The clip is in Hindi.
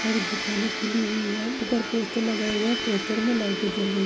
और दुकाने खुली हुई हैं ऊपर पोस्टर लगाया गया हैं। पोस्टर में लाइटे जल र--